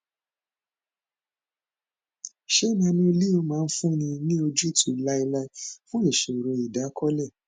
ṣé nanoleo máa fúnni ní ojútùú láéláé fún ìṣòro ìdákọlẹ